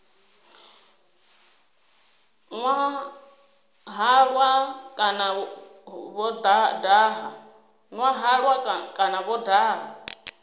nwa halwa kana vho daha